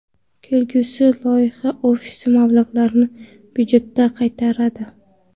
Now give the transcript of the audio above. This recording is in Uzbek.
Kelgusida loyiha ofisi mablag‘larni budjetga qaytaradi.